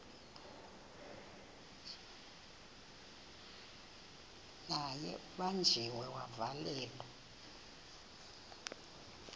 naye ubanjiwe wavalelwa